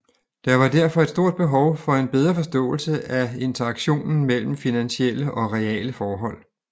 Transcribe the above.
Der var derfor et stort behov for en bedre forståelse af interaktionen mellem finansielle og reale forhold